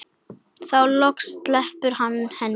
Þá loksins sleppti hann henni.